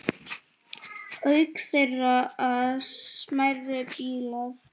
Auk þeirra smærri bílar.